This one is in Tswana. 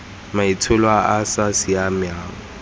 maitsholo a a sa siamang